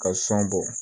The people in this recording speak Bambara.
Ka sɔn bɔ